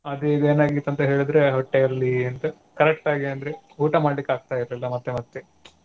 ಅದು ಅದೀಗೇನಾಗಿತ್ತ ಹೇಳಿದ್ರೆ ಹೊಟ್ಟೆಯಲ್ಲಿ ಎಂತ correct ಆಗಿ ಅಂದ್ರೆ ಊಟ ಮಾಡ್ಲಿಕ್ ಆಗ್ತಾ ಇರಲಿಲ್ಲ ಮತ್ತೆ ಮತ್ತೆ.